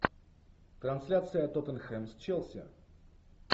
трансляция тоттенхэм с челси